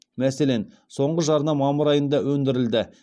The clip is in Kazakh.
мәселен соңғы жарна мамыр айында өндірілді